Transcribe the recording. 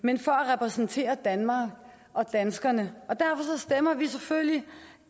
men for at repræsentere danmark og danskerne og derfor stemmer vi selvfølgelig